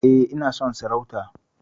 E, ina son sarauta.